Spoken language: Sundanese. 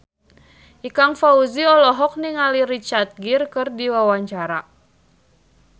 Ikang Fawzi olohok ningali Richard Gere keur diwawancara